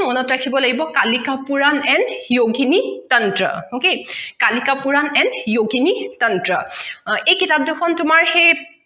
মনত ৰাখিব লাগিব kalika purana and yogini tantra okay kalika purana and yogini tantra এই কিতাপ দুখন তোমাৰ সেই